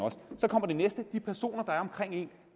så kommer det næste de personer der er omkring